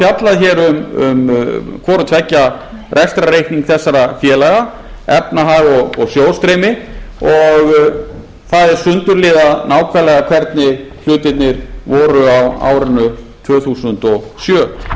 er fjallað hér um hvorutveggja rekstrarreikning þessara félaga efnahag og sjóðsstreymi og það er sundurliðað nákvæmlega hvernig hlutirnir voru á árinu tvö þúsund og sjö